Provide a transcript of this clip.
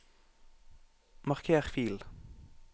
marker fil